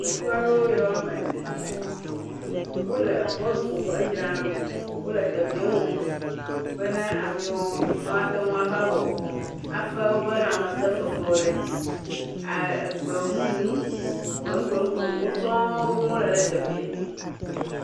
Ŋutsu aɖewo ame ene wole bɔluƒfo fe dzram ɖo ole teƒfea wɔm be na amewo ateŋ va fe woƒbe lamese fefewo le dzi aa gbemu gbemu gbemuwo sɔŋ ɖom wole ɖe teƒfea